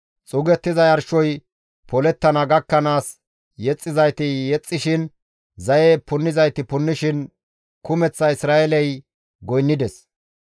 Xuugettiza yarshoy polettana gakkanaas yexxizayti yexxishin, zaye punnizayti punnishin kumeththa Isra7eeley goynnides.